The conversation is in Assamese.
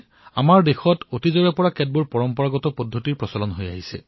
আমাৰ দেশত পানী সংৰক্ষণক বাবে বিভিন্ন পৰম্পৰাগত প্ৰক্ৰিয়া শতিকাজুৰি চলি আহিছে